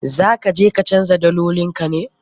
Za ka je ka canja dalolin ka ne?